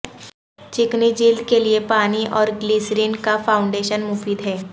چکنی جلد کے لئے پانی اور گلیسرین کا فاونڈیشن مفید ہے